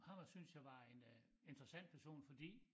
Ham synes jeg var en øh interessant person fordi